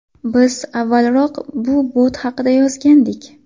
Biz avvalroq bu bot haqida yozgandik .